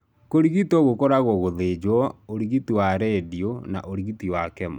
Kũrigito gũkoragwo gũthinjo, ũrigiti wa iradiyo, na urigiti wa chemo.